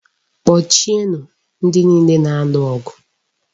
Kpọchie nụ ndị niile na-alụ ọgụ!